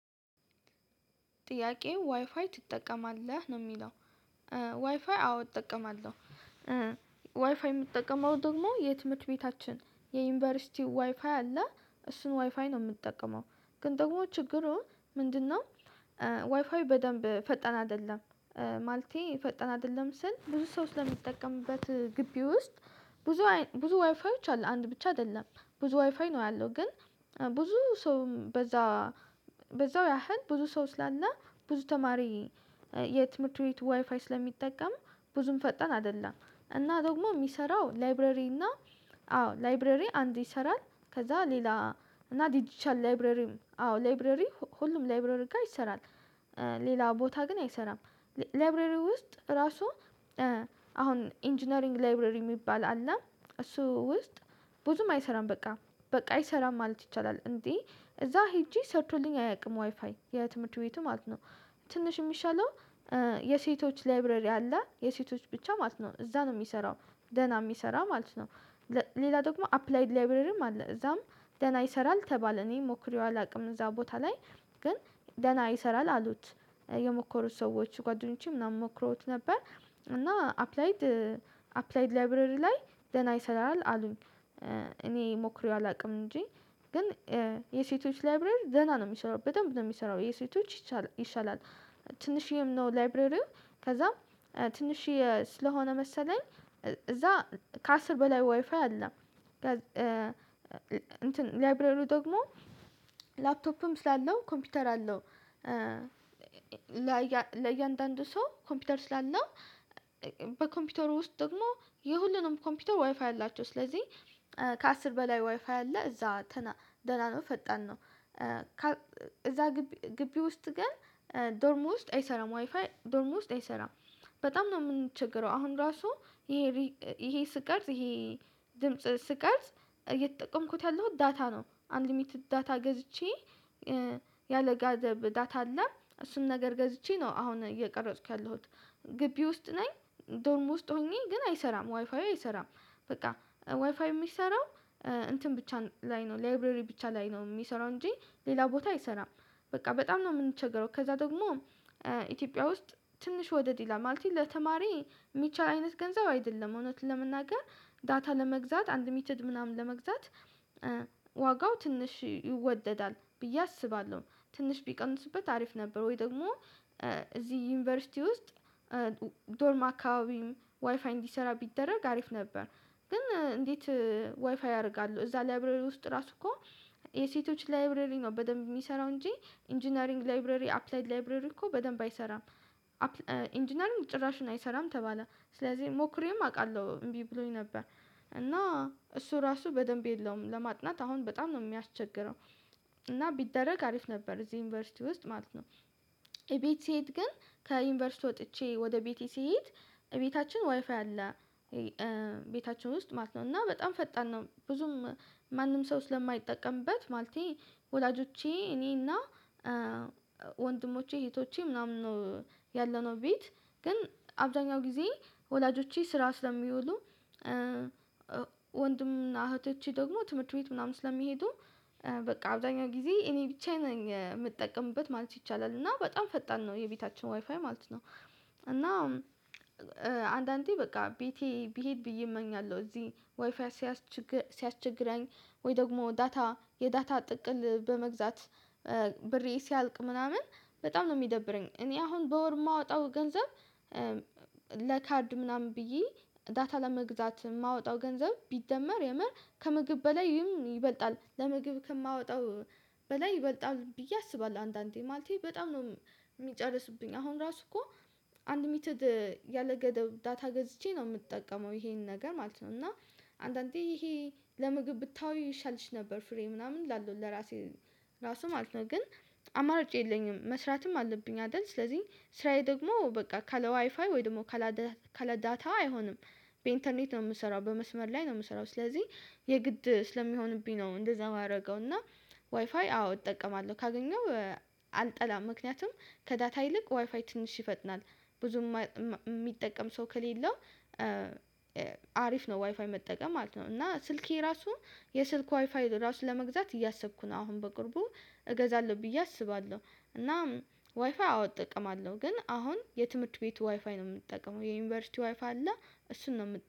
ጥያቄ ዋይፋይ ትጠቀማለህ ነው የሚለው? ዋይፋይ አዎ እጠቀማለሁ። ዋይፋይ የምጠቀመው ደግሞ የትምህርት ቤታችን የዩኒቨርሲቲው ዋይፋይ አለ እሱን ዋይፋይ ነው የምትጠቀመው። ግን ደግሞ ችግሩ ምንድነው? ዋይፋይ በደንብ ፈጠን አይደለም። ማልቲ ፈጠን አይደለም ስል ብዙ ሰው ስለሚጠቀምበት። ግቢ ውስጥ ብዙ ብዙ ዋይፋዎች አሉ አንድ ብቻ አይደለም ብዙ ዋይፋይ ነው ያለው ግን። ብዙ ሰውም በዛ በዛው ያህል ብዙ ሰው ስላና ብዙ ተማሪ ዋይፋይ ስለሚጠቀሙ ብዙም ፈጠን አይደለም። እና ደግሞ የሚሰራው ላይብረሪ እና አዎ ላይብረሪ አንድ ይሰራል ከዛ ሌላ እና ዲጂቻል ላይብረሪም አዎ ላይብረሪ ሁሉም ላይብሬሪ ጋር ይሰራል። ሌላ ቦታ ግን አይሰራም። ላይብሬሪ ውስጥ ራሱ። አሁን ኢንጂነሪንግ ላብሬሪ የሚባል አለ እሱ ውስጥ ብዙም አይሰራም በቃ በቃ አይሰራም ማለት ይቻላል እንዴ? እዛ ሄጄ ሰርቶልኝ አያውቅም ዋይፋይ የትምህርት ቤቱ ማለት ነው። ትንሽ የሚሻለው የሴቶች ላይብረሪ አለ የሴቶች ብቻ ማለት ነው እዛ ነው የሚሰራው ደህና የሚሰራ ማለት ነው። ሌላ ደግሞ አፕላይድ ላይብሬርም አለ እዛም ደና ይሰራል ተባለ እኔ ሞክሬዋ አላውቅም እዛ ቦታ ላይ ግን ደህና ይሰራል አሉት። የሞከሩት ሰዎች ጓደኞቼ ምናምን ሞክሮት ነበር። እና አፕላይድ አፕላይድ ላይብረሪ ላይ ደና ይሰራል አሉኝ። እኔ ሞክሬ አላውቅም እንጂ ግን የሴቶች ላይብሬር ዘና ነው የሚሰራው በጣም ነው የሚሰራው የሴቶች ይሻላል። ትንሽዬም ነው ላይብረሪው ከዛ ትንሽዬ ስለሆነ መሰለኝ እዛ ከአስር በላይ ዋይፋይ አለ። እንትን ላይብረሩ ደግሞ ላፕቶፕም ስላለው ኮምፒውተር አለው። ለእያንዳንዱ ሰው ኮምፒውተር ስላለ በኮምፒውተሩ ውስጥ ደግሞ የሁሉንም ኮምፒውተር ዋይፋ ያላቸው ስለዚህ። ከአስር በላይ ዋይፋ አለ እዛ ደህና ነው ፈጣን ነው እዛ ግቢ ውስጥ ግን ዶርም ውስጥ አይሰራም ዋይፋይ ዶርም ውስጥ አይሰራም። በጣም ነው የምንቸገረው አሁን ራሱ ይሄ ይሄ ስቀርጽ ይሄ ድምጽ ስቀርጽ እየተጠቀምኩት ያለሁት ዳታ ነው አንድ ሊሚትድ ዳታ ገዝቼ። ያለጋደብ ዳታ አለ እሱን ነገር ገዝቼ ነው አሁን እየቀረጽኩ ያለሁት። ግቢ ውስጥ ነኝ ዶርም ውስጥ ሆኜ ግን አይሰራም ዋይፋዬ አይሰራም። በቃ ዋይፋዬ የሚሰራው እንትን ብቻ ላይ ነው ላይብረሪ ብቻ ላይ ነው የሚሰራው እንጂ ሌላ ቦታ አይሰራም። በቃ በጣም ነው የምንቸገረው ከዛ ደግሞ ኢትዮጵያ ውስጥ ትንሽ ወደድ ይላል ማለት ይሄ ለተማሪ የሚቻል አይነት ገንዘብ አይደለም እውነት ለመናገር ዳታ ለመግዛት አንድ ሚትድ ምናምን ለመግዛት ትንሽ ይወደዳል ብዬ አስባለሁ። ትንሽ ቢቀንስበት አሪፍ ነበር ወይ? ደግሞ እዚህ ዩኒቨርሲቲ ውስጥ ዶርም አከባቢ ዋይፋይ እንዲሰራ ቢደረግ አሪፍ ነበር። ግን እንዴት ዋይፋይ አደርጋለሁ እዛ ላይብረር ውስጥ ራሱ እኮ የሴቶች ላይብረሪ ነው በደንብ የሚሰራው እንጂ ኢንጂነሪንግ ላይብረሪ አፕላይድ ላይብረሪ እኮ በደንብ አይሰራም። ኢንጂነሪንግ ጭራሽን አይሰራም ተባለ ስለዚህ ሞክሬም አውቃለሁ እምቢ ብሎኝ ነበር። እና እሱ ራሱ በደንብ የለውም ለማጥናት አሁን በጣም ነው የሚያስቸግረው። ቢደረግ አሪፍ ነበር እዚህ ዩኒቨርሲቲ ውስጥ ማለት ነው። ቤት ስሄድ ግን ከዩኒቨርሲቲ ወጥቼ ወደ ቤቴ ስሄድ ቤታችን ዋይፋይ አለ። ቤታችን ውስጥ ማለት ነው እና በጣም ፈጣን ነው ብዙም ማንም ሰው ስለማይጠቀምበት ማለቴ ወላጆቼ እኔና ወንድሞቼ እህቶቼ ምናምን ነው። ያለነው ቤት ግን አብዛኛው ጊዜ ወላጆቼ ስራ ስለሚውሉ ወንድም እና እህቶቼ ደግሞ ትምህርት ቤት ምናምን ስለሚሄዱ። በቃ አብዛኛው ጊዜ እኔ ብቻዬን የምጠቀምበት ማለት ይቻላል እና በጣም ፈጣን ነው የቤታችን ዋይፋይ ማለት ነው። እና አንዳንዴ በቃ ቤቴ ብሄድ ብዬ እመኛለሁ እዚህ ዋይፋይ። ሲያስችግረኝ ወይ ደግሞ ዳታ የዳታ ጥቅል በመግዛት ብሬ ሲያልቅ ምናምን። በጣም ነው የሚደብረኝ እኔ አሁን በወር የማወጣው ገንዘብ ለካርድ ምናምን ብዬ ዳታ ለመግዛት የማወጣው ገንዘብ ቢደመር የምር ከምግብ በላይም ይበልጣል ለምግብ ከማወጣው በላይ ይበልጣል ብዬ አስባለሁ አንዳንዴ ማለቴ በጣም ነው። የሚጨርሱብኝ አሁን ራሱ እኮ አንልምትድ ያለገደብ ዳታ ገዝቼ ነው የምጠቀመው ይሄን ነገር ማለት ነው። እና አንዳንዴ ይሄ ለምግብ ብታወይ ይሻልሽ ነበር ፍሬ ምናምን ላለው ለራሴ ራሱ ማለት ነው። ግን አማራጭ የለኝም መስራትም አለብኝ አይደል ስለዚህ ስራዬ ደግሞ በቃ ከለ ዋይፋይ ወይ ደግሞ ከለ ከለዳታዋ አይሆንም። በኢንተርኔት ነው የምሰራው በመስመር ላይ ነው የምሰራው ስለዚህ የግድ ስለሚሆንብኝ ነው እንደዛ የማደርገው እና። ዋይፋይ አዎ እጠቀማለሁ ካገኘው ምክንያቱም ከዳታ ይልቅ ዋይፋይ ትንሽ ይፈጥናል። ብዙም የሚጠቀም ሰው ከሌለው አሪፍ ነው ዋይፋይ መጠቀም ማለት ነው። እና ስልኬ ራሱ የስልክ ዋይፋይ ራሱ ለመግዛት እያሰብኩ ነው አሁን በቅርቡ እገዛለሁ ብዬ አስባለሁ። እናም ዋይፍይ አዎ እጠቀማለሁ አለው ግን አሁን የትምህርት ቤቱ ዋይፋይ ነው የምጠቀመው የዩኒቨርሲቲ ዋይፍ አለ። እሱን ነው የምት